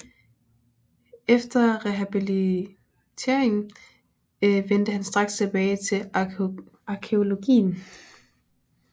Efter rehabiliteringen vendte han straks tilbage til arkæologien